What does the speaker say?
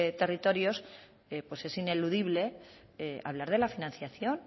territorios pues es ineludible hablar de la financiación